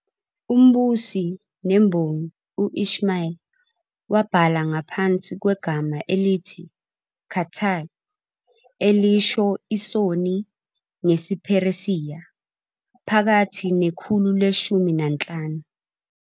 Umbusi nembongi u- Ismail I wabhala ngaphansi kwegama elithi "Khatā'ī", elisho "isoni" ngesiPheresiya, phakathi nekhulu leshumi nanhlanu.